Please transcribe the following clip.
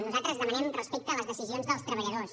nosaltres demanem respecte a les decisions dels treballadors